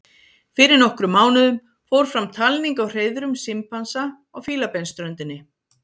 fyrir nokkrum mánuðum fór fram talning á hreiðrum simpansa á fílabeinsströndinni